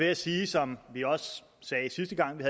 jeg sige som vi også sagde sidste gang vi